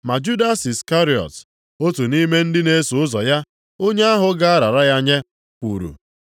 Ma Judas Iskarịọt, otu nʼime ndị na-eso ụzọ ya, onye ahụ ga-arara ya nye, kwuru,